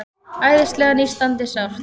Æðislega nístandi sárt.